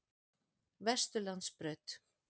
Vesturlandsbraut